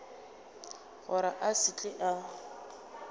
gore a se tle a